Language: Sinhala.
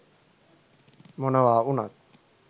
මොනවා උනත්